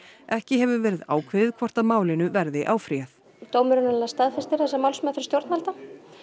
ekki hefur verið ákveðið hvort málinu verður áfrýjað dómurinn staðfestir þessa málsmeðferð stjórnvalda